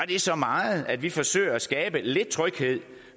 det så meget at vi forsøger at skabe lidt tryghed